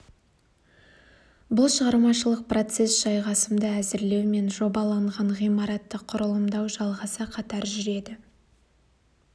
бұл шығармашылық процесс жайғасымды әзірлеу мен жобаланған ғимаратты құрылымдау жалғаса қатар жүреді